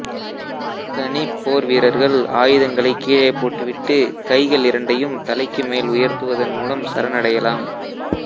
தனிப் போர்வீரர்கள் ஆயுதங்களைக் கீழே போட்டுவிட்டுக் கைகள் இரண்டையும் தலைக்கு மேல் உயர்த்துவதன் மூலம் சரணடையலாம்